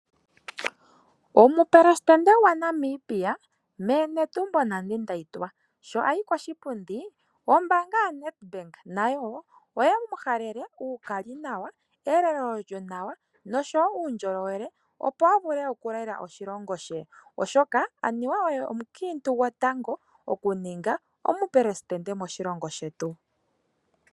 Omupelesitende gwaNamibia meme Netumbo Nandi Ndaitwah sho ayi koshipundi ombaanga yoNEDBANK nayo wo oye mu halele uukali nawa, elelo lyonawa noshowo uundjolowele opo a vule okulela oshilongo she, oshoka anuwa oye omukiintu gotango okuninga omupelesitende moshilongo shetu.